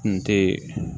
Kun te